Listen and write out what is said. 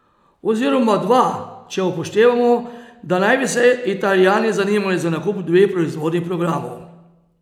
Oziroma dva, če upoštevamo, da naj bi se Italijani zanimali za nakup dveh proizvodnih programov.